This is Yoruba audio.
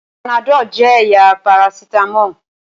Panadol jẹ́ ẹ̀yà parasítámọ̀.